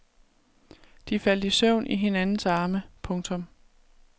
De faldt i søvn i hinandens arme. punktum